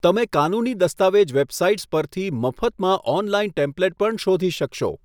તમે કાનૂની દસ્તાવેજ વેબસાઇટ્સ પરથી મફતમાં ઑનલાઇન ટેમ્પ્લેટ પણ શોધી શકશો.